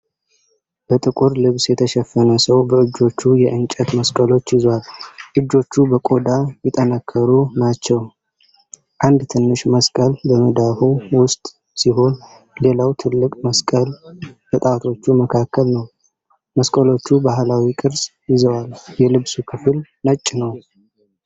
በጥቁር ልብስ የተሸፈነ ሰው በእጆቹ የእንጨት መስቀሎች ይዟል። እጆቹ በቆዳ የጠነከሩ ናቸው። አንድ ትንሽ መስቀል በመዳፉ ውስጥ ሲሆን፣ ሌላው ትልቅ መስቀል በጣቶቹ መካከል ነው። መስቀሎቹ ባህላዊ ቅርፅ ይዘዋል። የልብሱ ክፍል ነጭ ነው።